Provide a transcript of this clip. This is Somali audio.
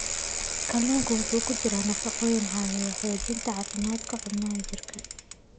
Kalluunka waxaa ku jira nafaqooyin caawiya xoojinta caafimaadka xubnaha jirka.